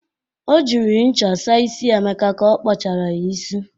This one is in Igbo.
O jiri ncha sa isi Emeka ka ọ kpọchara ya isi.